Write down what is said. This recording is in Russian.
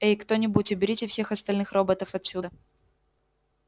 эй кто-нибудь уберите всех остальных роботов отсюда